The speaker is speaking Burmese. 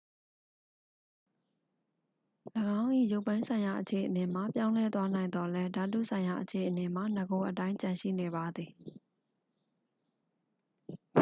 ၎င်း၏ ရုပ်ပိုင်းဆိုင်ရာအခြေအနေမှာ ပြောင်းလဲသွားနိုင်သော်လည်း ဓာတုဆိုင်ရာအခြေအနေမှာ နဂိုအတိုင်း ကျန်ရှိနေပါသည်